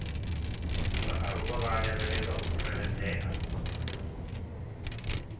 vhaaluwa vha lavhelwa u tsireledzea